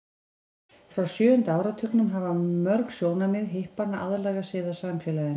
frá sjöunda áratugnum hafa mörg sjónarmið hippanna aðlagað sig að samfélaginu